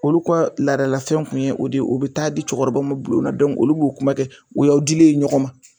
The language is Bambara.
Olu ka laadalafɛn kun ye o de ye o bi taa di cɛkɔrɔbaw ma bulon na olu b'o kuma kɛ o y'aw dilen ye ɲɔgɔn ma.